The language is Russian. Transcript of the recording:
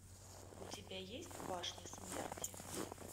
у тебя есть башня смерти